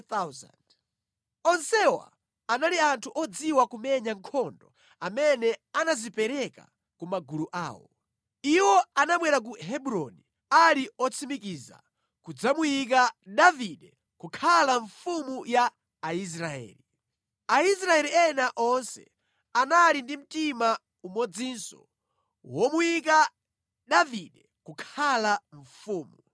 Onsewa anali anthu odziwa kumenya nkhondo amene anadzipereka ku magulu awo. Iwo anabwera ku Hebroni ali otsimikiza kudzamuyika Davide kukhala mfumu ya Aisraeli. Aisraeli ena onse anali ndi mtima umodzinso womuyika Davide kukhala mfumu.